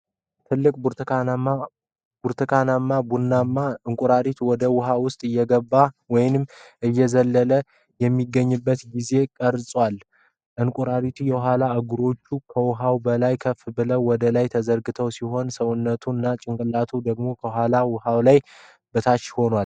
ትልቅ ብርቱካናማ-ቡናማ እንቁራሪት ወደ ውሃው ውስጥ እየገባ ወይም እየዘለለ የሚገኝበት ጊዜ ቀርጿል። የእንቁራሪቱ የኋላ እግሮች ከውሃው በላይ ከፍ ብለው ወደ ላይ የተዘረጉ ሲሆን፣ ሰውነቱ እና ጭንቅላቱ ደግሞ ከውሃው ወለል በታች ሆነዋል።